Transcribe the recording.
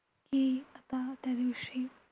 कि आता त्या दिवशी